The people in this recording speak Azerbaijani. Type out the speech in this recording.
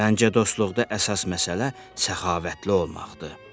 Məncə, dostluqda əsas məsələ səxavətli olmaqdır.